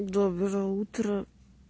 доброе утро